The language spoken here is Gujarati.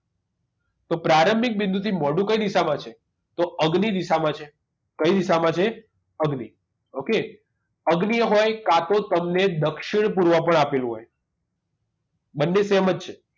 તો પ્રારંભિક બિંદુથી મોઢું કઈ દિશામાં છે તો અગ્નિ દિશામાં છે કઈ દિશામાં છે અગ્નિ okay અગ્નિ હોય કા તો તમને દક્ષિણ પૂર્વ પણ આપેલું હોય બંને same જ છે